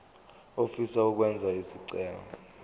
ofisa ukwenza isicelo